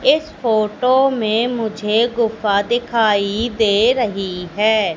इस फोटो में मुझे गुफा दिखाई दे रही है।